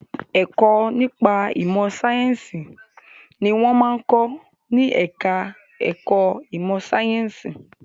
Ẹ̀kọ́ nípa ìmọ̀ sáyẹ̀nsì ni wọ́n máa ń kọ́ ní ẹ̀ka ẹ̀kọ́ ìmọ sàyẹ̀nsì.